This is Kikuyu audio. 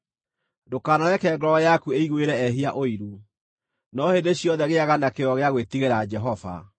Ndũkanareke ngoro yaku ĩiguĩre ehia ũiru, no hĩndĩ ciothe gĩĩaga na kĩyo gĩa gwĩtigĩra Jehova.